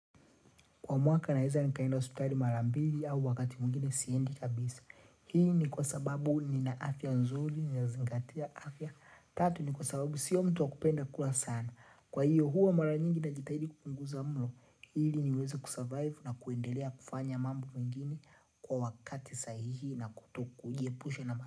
Kwa mwaka ninaweeza nikaenda hospitali marambili au wakati mwingine siendi kabisa. Hii ni kwa sababu nina afya nzuri, nina zingatia afya. Tatu ni kwa sababu siyo mtu wa kupenda kula sana. Kwa hiyo huwa mara nyingi na jitahidi kupunguza mlo. Hili niweze kusurvive na kuendelea kufanya mambo mengini kwa wakati sahihi na kutoku. Kujie pusha na maha.